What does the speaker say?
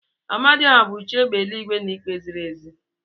Amadiohia bu chi égbè eluigwe na ikpe ziri ezi.